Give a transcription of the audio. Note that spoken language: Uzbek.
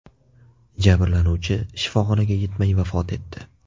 Jabrlanuvchi shifoxonaga yetmay vafot etdi.